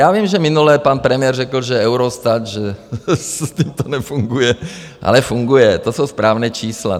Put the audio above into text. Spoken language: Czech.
Já vím, že minule pan premiér řekl, že Eurostat - že s tím to nefunguje, ale funguje, to jsou správná čísla.